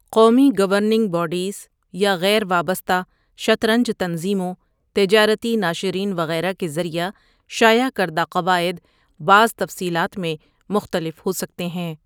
قومی governing bodies, یا غیر وابستہ شطرنج تنظیموں، تجارتی ناشرین وغیرہ کے ذریعہ شائع کردہ قواعد، بعض تفصیلات میں مختلف ہوسکتے ہیں۔